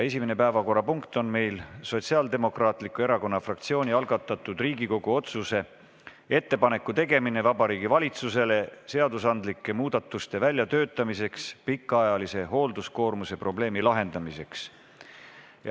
Esimene päevakorrapunkt on Sotsiaaldemokraatliku Erakonna fraktsiooni algatatud Riigikogu otsuse "Ettepaneku tegemine Vabariigi Valitsusele seadusandlike muudatuste väljatöötamiseks pikaajalise hoolduskoormuse probleemi lahendamiseks" eelnõu 149 esimene lugemine.